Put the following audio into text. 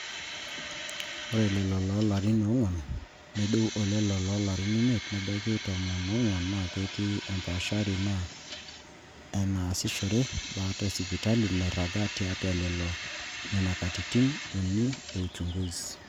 ore lelo loolarin oong'wan nedou olelo loolarin imiet nebaiki tomon oong'wan naa kiti empaashari enaa enaasishore baata esipitali nairagi tiatwa lelo nena katitin uni e uchunguzi